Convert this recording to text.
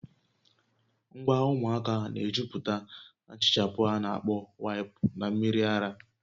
Ngwa ụmụaka na-ejupụta na nhichapụ a na-akpọ waịpụ na mmiri ara